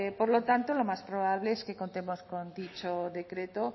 por lo tanto lo más probable es que contemos con dicho decreto